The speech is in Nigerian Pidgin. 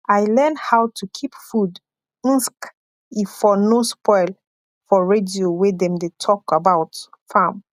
i learn how to keep food mske e for no spoil for radio wey dem de talk about farm